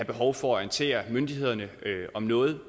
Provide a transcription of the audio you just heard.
behov for at orientere myndighederne om noget